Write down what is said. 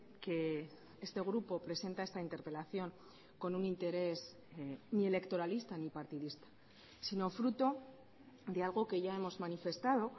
que este grupo presenta esta interpelación con un interés ni electoralista ni partidista sino fruto de algo que ya hemos manifestado